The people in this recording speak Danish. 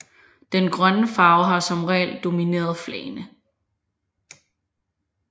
Den grønne farve har som regel domineret flagene